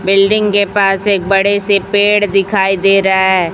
Building के पास एक बड़े से पेड़ दिखाई दे रहा है।